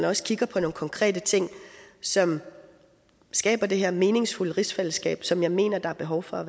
også kigge på nogle konkrete ting som skaber det her meningsfulde rigsfællesskab som jeg mener der er behov for